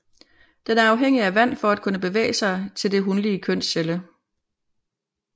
Den er afhængig af vand for at kunne bevæge sig til den hunlige kønscelle